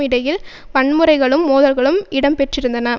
இடையில் வன்முறைகளும் மோதல்களும் இடம்பெற்றிருந்தன